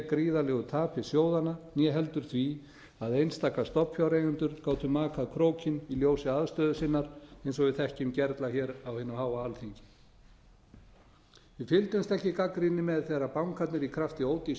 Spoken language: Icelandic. gríðarlegu tapi sjóðanna né heldur því að einstaka stofnfjáreigendur gátu makað krókinn í ljósi aðstöðu sinnar eins og við þekkjum gerla hér á hinu háa alþingi við fylgdumst ekki gagnrýni með þegar bankarnir í krafti ódýrs